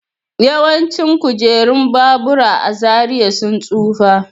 Yawancin kujerun babura a Zaria sun tsufa.